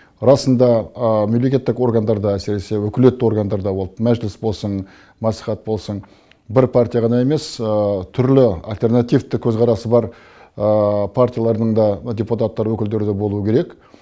расында мемлекеттік органдарда әсіресе өкілетті органдарда ол мәжіліс болсын мәслихат болсын бір партия ғана емес түрлі алтернативті көзқарасы бар партиялардың да депутаттар өкілдері де болуы керек